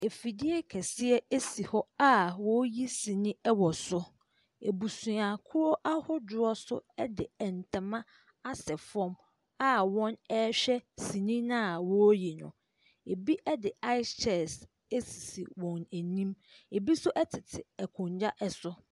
Afidie kɛseɛ si hɔ a wɔreyi sini wɔ so. Abusuakuo ahodoɔ nso de ntama asɛ fam a wɔrehwɛ sini no a wɔreyi no. Ebi de ice chest asisi wɔn anim. Ebi nso tete akonnwa so.